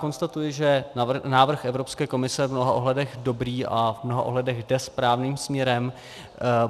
Konstatuji, že návrh Evropské komise je v mnoha ohledech dobrý a v mnoha ohledech jde správným směrem.